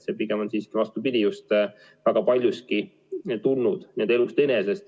Pigem on kõik see väga paljuski tulnud elust enesest.